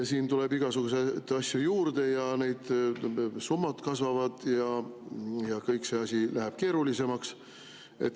Siin tuleb igasuguseid asju juurde ja need summad kasvavad ja kogu see asi läheb keerulisemaks.